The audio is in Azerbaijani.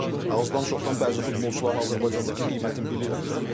Amma azdan-çoxdan bəzi futbolçuların Azərbaycandakı qiymətini bilirəm də.